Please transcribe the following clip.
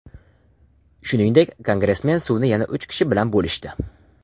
Shuningdek, kongressmen suvni yana uch kishi bilan bo‘lishdi.